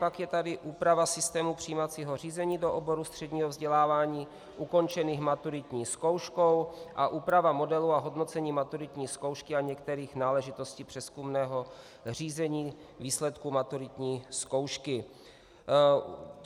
Pak je tady úprava systému přijímacího řízení do oborů středního vzdělávání ukončených maturitní zkouškou a úprava modelu a hodnocení maturitní zkoušky a některých náležitostí přezkumného řízení výsledku maturitní zkoušky.